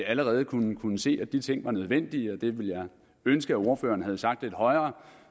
allerede kunne se at de ting var nødvendige og det ville jeg ønske at ordføreren havde sagt lidt højere